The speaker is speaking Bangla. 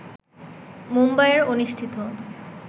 মুম্বাইয়ের অনুষ্ঠিত